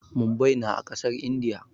Mumbai na a ƙasar Indiya.